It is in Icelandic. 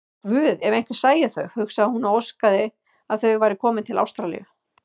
Guð, ef einhver sæi þau, hugsaði hún og óskaði að þau væru komin til Ástralíu.